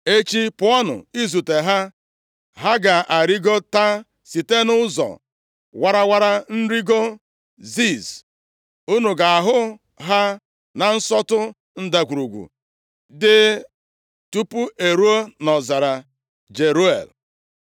Echi pụọnụ izute ha. Ha ga arịgota site nʼụzọ warawara nrigo Ziz, unu ga-ahụ ha na nsọtụ ndagwurugwu dị tupu e ruo nʼọzara Jeruel.